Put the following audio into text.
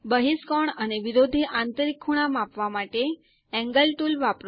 બહિષ્કોણ અને વિરોધી આંતરિક ખૂણા માપવા માટે એન્ગલ ટુલ વાપરો